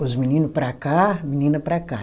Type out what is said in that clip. Os meninos para cá, menina para cá.